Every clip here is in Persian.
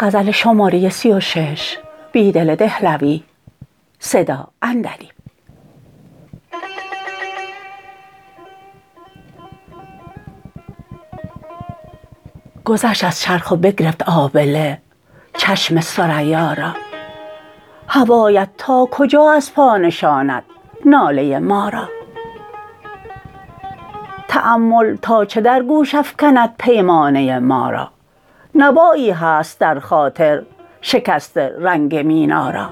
گذشت از چرخ و بگرفت آبله چشم ثریا را هوایت تا کجا از پا نشاند ناله ما را تأمل تا چه در گوش افکند پیمانه ما را نوایی هست درخاطر شکست رنگ مینا را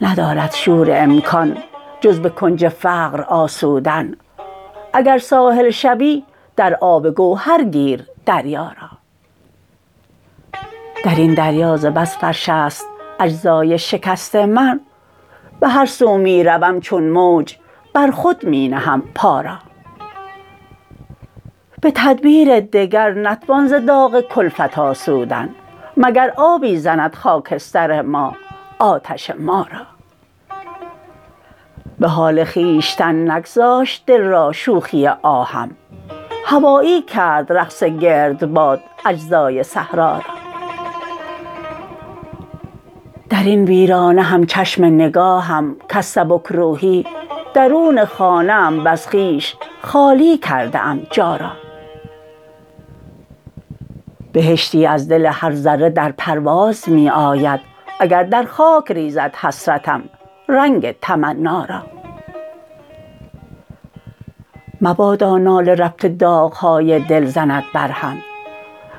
ندارد شور امکان جز به کنج فقر آسودن اگر ساحل شوی در آب گوهر گیر دریا را در این دریا ز بس فرش است اجزای شکست من به هر سو می روم چون موج بر خود می نهم پا را به تدبیر دگر نتوان ز داغ کلفت آسودن مگر آبی زند خاکستر ما آتش ما را به حال خویشتن نگذاشت دل را شوخی آهم هوایی کرد رقص گردباد اجزای صحرا را در این ویرانه هم چشم نگاهم کز سبکروحی درون خانه ام وز خویش خالی کرده ام جا را بهشتی از دل هر ذره در پرواز می آید اگر در خاک ریزد حسرتم رنگ تمنا را مبادا ناله ربط داغ های دل زند برهم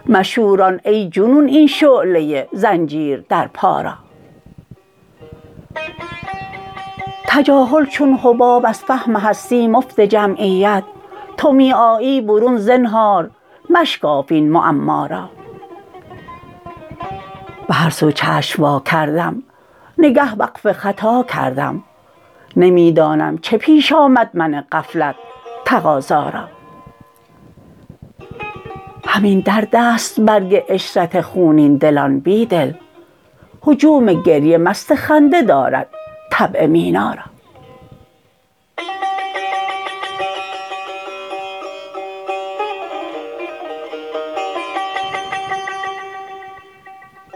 مشوران ای جنون این شعله زنجیر در پا را تجاهل چون حباب از فهم هستی مفت جمعیت تو می آیی برون زنهار مشکاف این معما را به هر سو چشم واکردم نگه وقف خطا کردم نمی دانم چه پیش آمد من غفلت تقاضا را همین درد است برگ عشرت خونین دلان بیدل هجوم گریه مست خنده دارد طبع مینا را